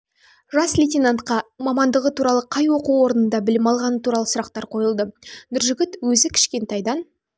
жас лейтенантқа мамандығы туралы қай оқу орнында білім алғаны туралы сұрақтар қойылды нұржігіт өзі кішкентайдан